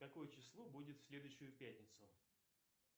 какое число будет в следующую пятницу